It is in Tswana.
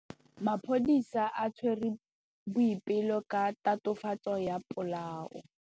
Maphodisa a tshwere Boipelo ka tatofatsô ya polaô.